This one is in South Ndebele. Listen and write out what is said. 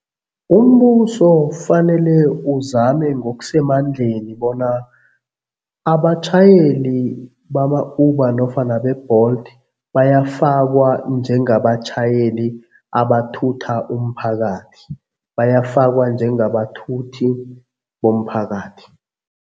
Umbuso fanele uzame ngokusemandleni bona abatjhayeli bama-Uber nofana be-Bolt bayafakwa njengabatjhayeli abathutha umphakathi, bayafakwa njengabathuthi bomphakathi.